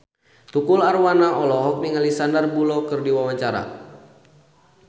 Tukul Arwana olohok ningali Sandar Bullock keur diwawancara